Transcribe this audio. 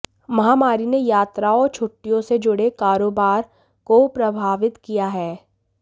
महामारी ने यात्राओं और छुट्टियों से जुड़े कारोबार को प्रभावित किया है